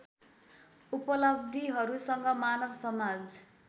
उपलब्धिहरूसँग मानव समाज